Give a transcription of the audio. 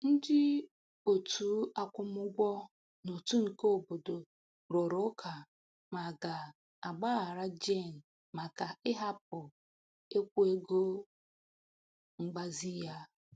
Ndị otu akwụmugwọ n'otu nke obodo rụrụ ụka ma a ga-agbaghara Jane maka ịhapụ ikwụ ego mgbazi ya.